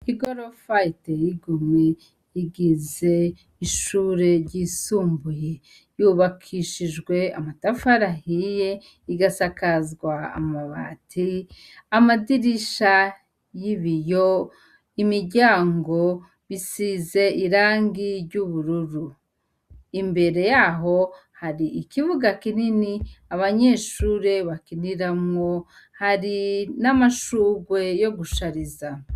Igorofa iteye igomwe igize ishure ryisumbuye. Ryubakishijwe amatafari ahiye igasakazwa amabati. Amadirisha y'ibiyo, imiryango bisize irangi ry'ubururu. Imbere yaho hari ikibuga kinini abanyeshure bakiniramwo. Hari n'amashurwe yo gushariza.